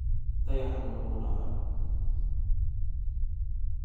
Dayaxa manuurayo.